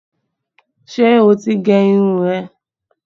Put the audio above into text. Ṣé o ti gẹ irun rẹ?